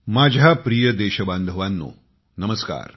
माझ्या प्रिय देशबांधवांनो नमस्कार